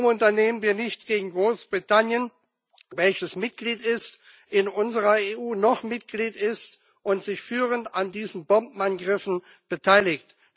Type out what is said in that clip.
Warum unternehmen wir nichts gegen Großbritannien, welches in unserer EU noch Mitglied ist und sich führend an diesen Bombenangriffen beteiligt?